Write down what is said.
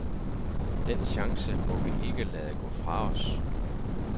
Den chance må vi ikke lade gå fra os.